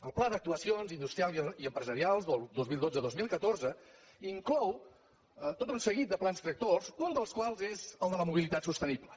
el pla d’actuacions industrials i empresarials del vint milions cent i vint dos mil catorze inclou tot un seguit de plans tractors un dels quals és el de la mobilitat sostenible